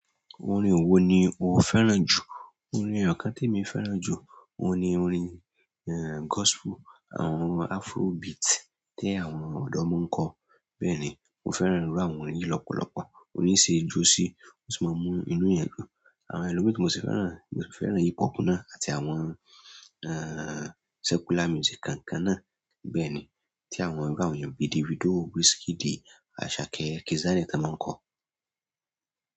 Orin wo ni o fẹ́ràn jù? Orin Àkán témì fẹ́ràn jù. Óun ní orin, gospel, àwọn afrobeat tí àwọn ọ̀dọ́ mo ń kọ. Bẹ́ẹ̀ni, mo fẹ́ràn irú àwọn orin yìí lọ́pọ̀lọpọ̀. Órin yìí ṣe ẹ jó sí, ó sì máa ń mú inú èèyàn dùn. Àwọn ẹlòmíì tí mo sì fẹ́ràn, mo sì fẹ́ràn hip hop náà àti àwọn secular music kọ̀ọ̀kan náà. Bẹ́ẹ̀ni, tí àwọn irú àwọn èèyàn bíi Davido, Wizkid, Asake, Kizz Daniel tí ọ́n mo ń kọ́.